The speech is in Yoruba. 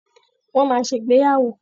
Wọ́n máa ṣègbéyàwó.